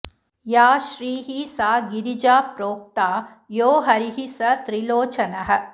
या श्रीः सा गिरिजा प्रोक्ता यो हरिः स त्रिलोचनः